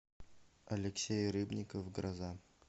алексей рыбников гроза